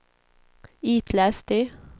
itläs det